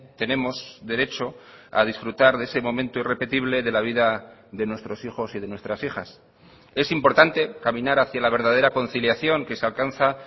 tenemos derecho a disfrutar de ese momento irrepetible de la vida de nuestros hijos y de nuestras hijas es importante caminar hacia la verdadera conciliación que se alcanza